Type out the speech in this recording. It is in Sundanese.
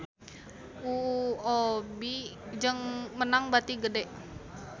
UOB meunang bati gede